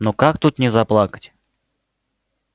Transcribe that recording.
ну как тут не заплакать